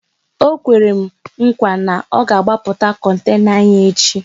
Ọ kwere m nkwa na ọ ga agbapụta kontena anyị echi